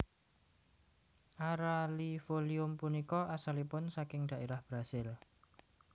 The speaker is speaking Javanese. Araliifolium punika asalipun saking dhaérah Brazil